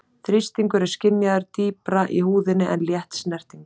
Þrýstingur er skynjaður dýpra í húðinni en létt snerting.